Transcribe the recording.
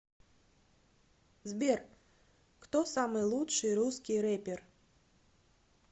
сбер кто самый лучший русский рэпер